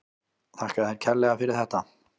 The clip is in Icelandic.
Þakka þér fyrir þetta kærlega.